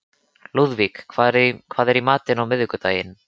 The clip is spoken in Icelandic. Lúðvík, hvað er í matinn á miðvikudaginn?